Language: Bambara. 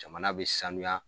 Jamana be sanuya